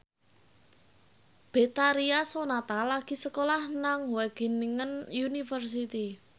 Betharia Sonata lagi sekolah nang Wageningen University